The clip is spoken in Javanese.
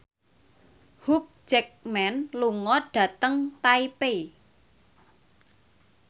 Hugh Jackman lunga dhateng Taipei